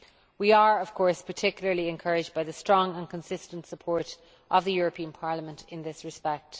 We are, of course, particularly encouraged by the strong and consistent support of the European Parliament in this respect.